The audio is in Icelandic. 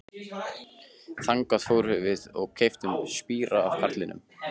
Þangað fórum við og keyptum spíra af karlinum.